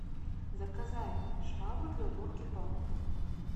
заказать швабру для уборки полов